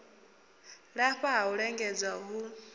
lafha ha u lingedza hu